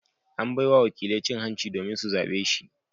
An bai wa wakilai cin hanci domin su zabe shi.